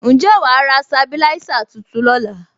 Ǹjẹ́ wàá ra sabilisa tuntun lóla?